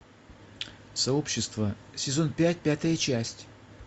сообщество сезон пять пятая часть